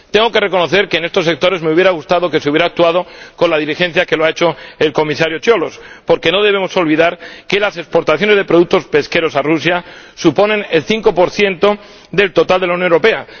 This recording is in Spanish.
Tengo que reconocer que en estos sectores me habría gustado que se hubiera actuado con la diligencia con que lo ha hecho el Comisario Cioloș, porque no debemos olvidar que las exportaciones de productos pesqueros a Rusia suponen el 5 del total de la Unión Europea.